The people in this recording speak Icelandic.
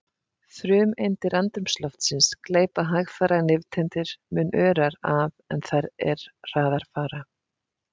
Frumeindir andrúmsloftsins gleypa hægfara nifteindir mun örar af en þær er hraðar fara.